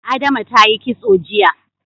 Adama ta yi kitso jiya.